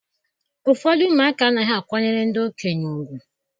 Ụfọdụ ụmụaka anaghị akwanyere ndị okenye ùgwù